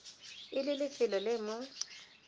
e le lefelo le mo